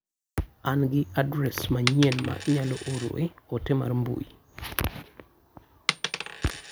An gi adres manyien ma inyalo oroe ote mar mbui.